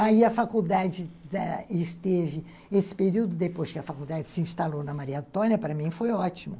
Aí a faculdade esteve... Esse período depois que a faculdade se instalou na Maria Antônia, para mim foi ótimo.